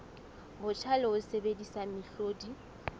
botjha le ho sebedisa mehlodi